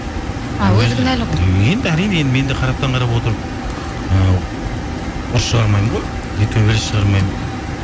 енді әрине енді мен де қараптан қарап отырып ы ұрыс шығармаймын ғой иә төбелес шығармаймын